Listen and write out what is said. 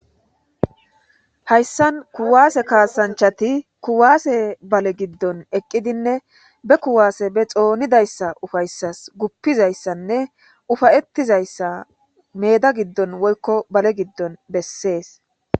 hayssan kuwaase kaasanchati kuwaase bale giddon eqqidinne be kuwaase be xoonidayssa ufayssas guppizayssanne ufayettizayssa meeda giddon woykko bale giddon bessees